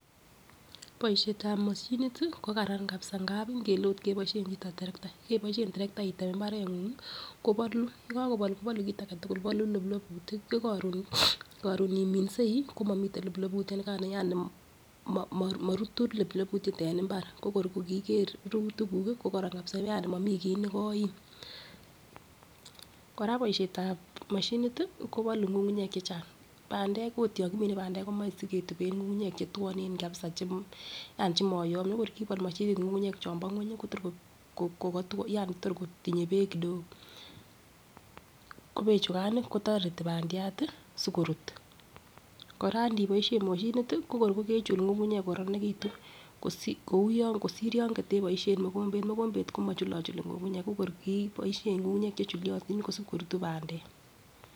Boishetab moshinit tii ko Karan kabisa ngapi ngele ot keboishen chito terekta, keboishen terekta item imbarenguny kobolu yekokobol kobolu kit agetukul bolu loploputik yekorun korun iminsei komomiten loploputyo nikano yani mo morutu loploputyet en imbar ko kor kiiker rurutik kuk kii kokoron kabisa yani momii kii nekoim. Koraa boishetab moshinit tii kobolu ngungunyek chechang, pandek ot yon kimiten pandek komoi siketuben ngungunyek chetwone kabisa chemo yani chemoyomyo ko kor kibol moshinit ngungunyek chombo ngwenyi Kotor ko kotwo yani tor kotinye beek kidogo, ko bechukan nii kotoreti pandiat tii sikorut. Koraa ndiboishen moshinit tii nko kor kokechul ngungunyek ko koronekitun kosir kou kosir yon koteboishen mokombet, mokombet komochulochuli ngungunyek ko kor kiboishen ngungunyek che chuliotin kosib korutu pandek.